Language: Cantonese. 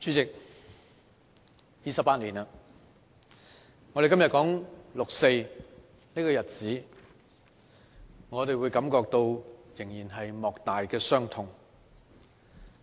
代理主席 ，28 年了，當我們今天說六四這個日子時，我們仍會感到莫大的傷痛。